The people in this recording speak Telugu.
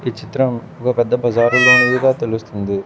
ఈ చిత్రం ఒక పెద్ద బజారు లోనిదిగా తెలుస్తుంది.